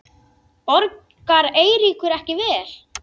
Borgar Eiríkur ekki vel?